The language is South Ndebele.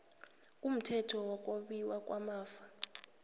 kumthetho wokwabiwa kwamafa